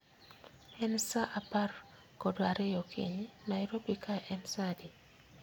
Ka en saa apr kod riyo okinyi, Nairobi kae en saa adi